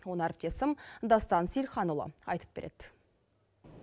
оны әріптесім дастан сейілханұлы айтып береді